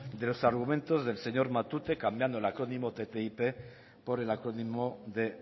de los argumentos del señor matute cambiando el acrónimo ttip por el acrónimo de